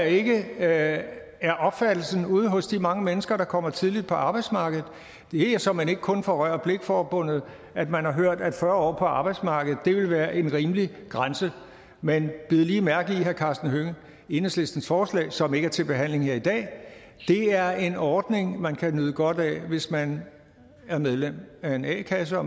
ikke er opfattelsen ude hos de mange mennesker der kommer tidligt på arbejdsmarkedet det er såmænd ikke kun fra blik og rørarbejderforbundet at man har hørt at fyrre år på arbejdsmarkedet ville være en rimelig grænse men bid lige mærke i herre karsten hønge at enhedslistens forslag som ikke er til behandling her i dag er en ordning man kan nyde godt af hvis man er medlem af en a kasse og